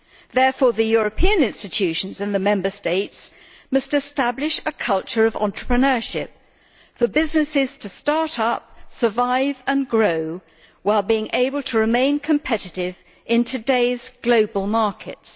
Therefore, the European institutions and the Member States must establish a culture of entrepreneurship for businesses to start up, survive and grow while being able to remain competitive in today's global markets.'